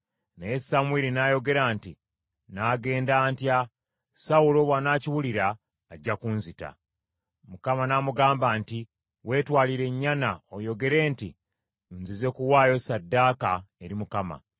Naye Samwiri n’ayogera nti, “Nnaagenda ntya? Sawulo bw’anakiwulira ajja kunzita.” Mukama n’amugamba nti, “Weetwalire ennyana oyogere nti, ‘Nzize kuwaayo ssaddaaka eri Mukama .’